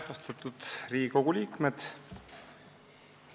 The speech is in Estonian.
Austatud Riigikogu liikmed!